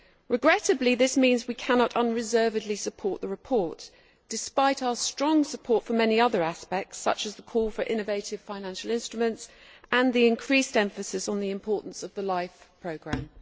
Regrettably, this means we cannot unreservedly support the report, despite our strong support for many other aspects such as the call for innovative financial instruments and the increased emphasis on the importance of the LIFE programme.